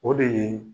O de ye